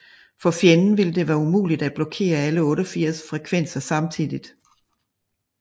For fjenden ville det være umuligt at blokere alle 88 frekvenser samtidigt